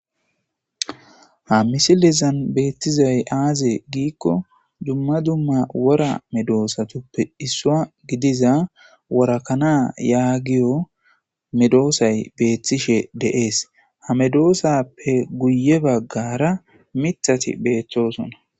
ha misilezan beettizay aaze giikko dumma dumma wora medoosatuppe issua gidiza worakana yaagiyo medoosay beethtishe de'ese ha medoosappe guye baggara mithati beeththosona